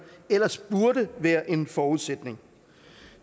ellers burde være en forudsætning